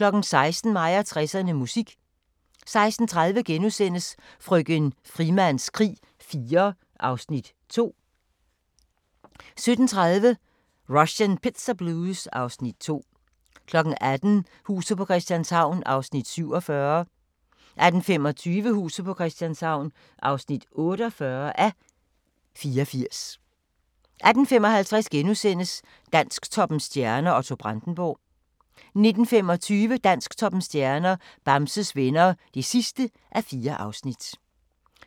16:00: Mig og 60'erne: Musik 16:30: Frøken Frimans krig IV (Afs. 2)* 17:30: Russian Pizza Blues (Afs. 2) 18:00: Huset på Christianshavn (47:84) 18:25: Huset på Christianshavn (48:84) 18:55: Dansktoppens stjerner: Otto Brandenburg (3:4)* 19:25: Dansktoppens stjerner: Bamses Venner (4:4)